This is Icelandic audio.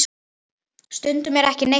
Stundum er ekki neitt útsýni!